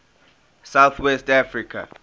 south west africa